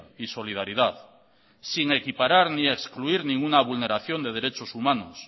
y solidaridad sin equiparar ni excluir ninguna vulneración de derechos humanos